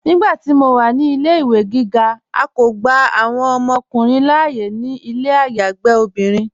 Nígbàtí mó wà ní ilẹ̀-ìwé gígá, à kó gbà awọn ọmọkùnrin láàyè ní ilẹ̀ ayágbe obìnrin.